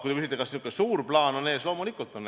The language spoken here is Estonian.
Kui te küsite, kas niisugune suur plaan on ees, siis loomulikult on.